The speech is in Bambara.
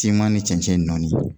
Kima ni cɛncɛn nɔɔni.